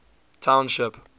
township